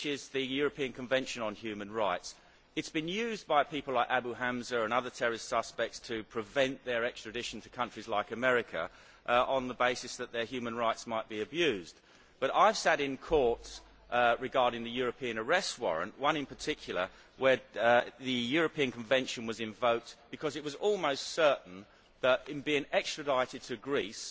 The European Convention on Human Rights has been used by people like Abu Hamza and terrorist suspects to prevent their extradition to countries like America on the basis that their human rights might be abused. But I have sat in courts dealing with European Arrest Warrant cases, and one in particular where the European Convention was invoked because it was almost certain that, in being extradited to Greece,